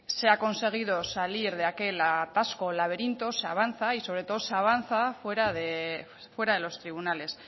se ha conseguido salir de aquel atasco o laberinto se avanza y sobre todo se avanza fuera de los tribunales